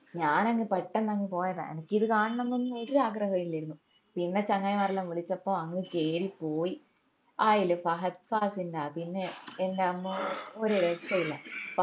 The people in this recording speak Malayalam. ഞാൻ അങ് പെട്ടെന്ന് അങ് പോയതാ അനക്കിത് കാണണംന്ന് ഒന്നും ഒരു ആഗ്രഹോം ഇല്ലെർന്നു പിന്നെ ചങ്ങായിമാരെല്ലൊം വിളിച്ചപ്പം അങ് കേറി പോയി ആയിൽ ഫഹദ് ഫാസിലിന്റെ അഭിനയം എന്റമ്മോ ഒരു രക്ഷയുമില്ല